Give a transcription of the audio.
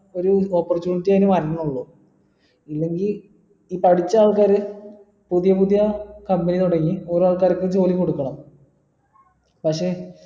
ഒരു opportunity എനി വരണുള്ളൂ ഇല്ലെങ്കി ഈ പഠിച്ച ആൾക്കാര് പുതിയ പുതിയ company തുടങ്ങി ഓരോ ആൾക്കാർക്ക് ജോലി കൊടുക്കണം പക്ഷെ